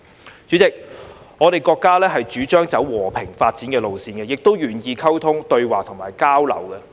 代理主席，我國主張走和平發展的路線，亦都願意溝通、對話及交流。